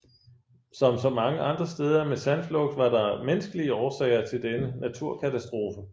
Som så mange andre steder med sandflugt var der menneskelige årsager til denne naturkatastrofe